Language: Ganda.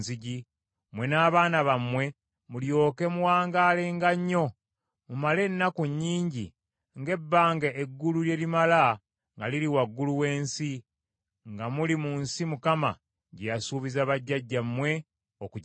mmwe n’abaana bammwe mulyoke muwangaalenga nnyo, mumale ennaku nnyingi nga ebbanga eggulu lye lirimala nga liri waggulu w’ensi, nga muli mu nsi Mukama gye yasuubiza bajjajjammwe okugibawa.